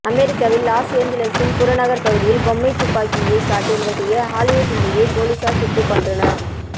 அமெரிக்காவில் லாஸ் ஏஞ்சல்சின் புறநகர் பகுதியில் பொம்மை துப்பாக்கியை காட்டி மிரட்டிய ஆலிவுட் நடிகையை போலீசார் சுட்டுக் கொன்றனர்